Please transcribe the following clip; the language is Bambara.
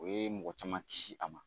O ye mɔgɔ caman kisi a ma